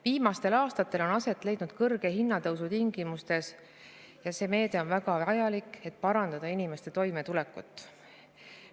Viimastel aastatel on aset leidnud kõrge hinnatõus ja see meede on väga vajalik, et parandada inimeste toimetulekut.